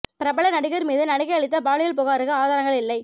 பிரபல நடிகர் மீது நடிகை அளித்த பாலியல் புகாருக்கு ஆதாரங்கள் இல்லை